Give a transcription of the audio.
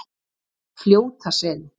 Fljótaseli